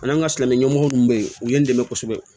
An ka silamɛ ɲɛmɔgɔ minnu bɛ yen u ye n dɛmɛ kosɛbɛ